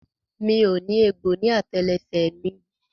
Mi ò ní egbò ní àtẹlẹsẹ̀ rẹ mi o.